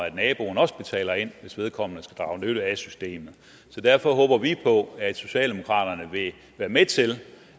at naboen også betaler ind hvis vedkommende skal drage nytte af systemet derfor håber vi på at socialdemokraterne vil være med til